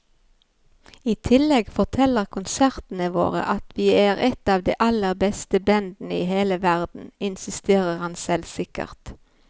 I tillegg forteller konsertene våre at vi er et av de aller beste bandene i hele verden, insisterer han selvsikkert.